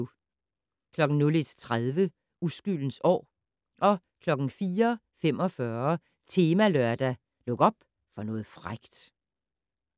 01:30: Uskyldens år 04:45: Temalørdag: Luk op for noget frækt